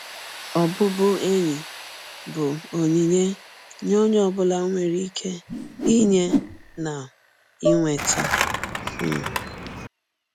Ọbụbụenyi bụ ọnyịnye ọnye ọ bụla nwere ịke inye na inweta. um